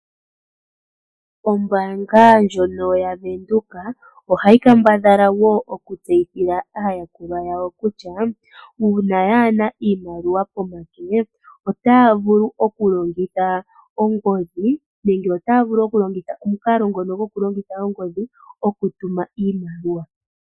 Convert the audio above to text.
Ombaanga ndjono yaVenduka, ohayi kambadhala wo okutseyithila aayakulwa yawo kutya: uuna yaana iimaliwa pomake, otaya vulu okulongitha ongodhi, okutuma iimaliwa.